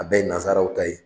A bɛɛ ye nazaraw ta ye.